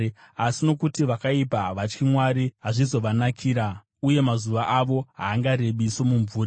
Asi nokuti vakaipa havatyi Mwari, hazvizovanakira, uye mazuva avo haangarebi somumvuri.